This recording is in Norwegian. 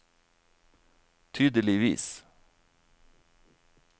tydeligvis